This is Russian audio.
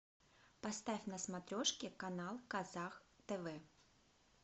поставь на смотрешке канал казах тв